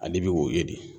Ale bɛ woyo de